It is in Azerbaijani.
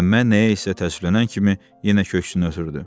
Məmmə nəyə isə təəssüflənən kimi yenə köksünü ötürdü.